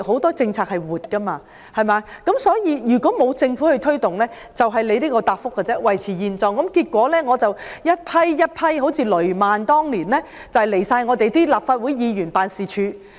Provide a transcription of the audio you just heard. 政策是活的，但如果沒有政府幫忙推動，便只會像局長的答覆般，一切維持現狀，結果一批又一批人，像當年的雷曼苦主到立法會議員辦事處申訴。